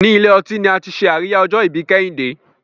ní Ilé-ọtí ní àti ṣe Àríyá ojo-ibi kehinde